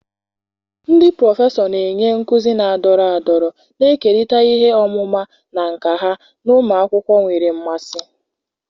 ndị prọfesọ na-enye nkuzi na-adọrọ adọrọ, na-ekerịta ihe ọmụma na nka ha na ụmụ akwụkwọ nwere mmasị.